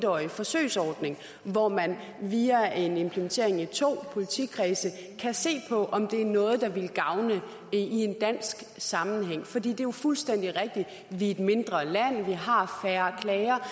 årig forsøgsordning hvor man via en implementering i to politikredse kan se på om det er noget der ville gavne i en dansk sammenhæng for det er jo fuldstændig rigtigt vi er et mindre land vi har færre klager